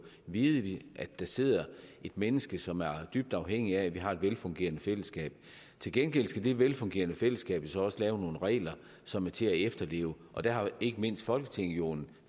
vide at der sidder et menneske som er dybt afhængigt af at vi har et velfungerende fællesskab til gengæld skal det velfungerende fællesskab jo så også lave nogle regler som er til at efterleve og der har ikke mindst folketinget jo en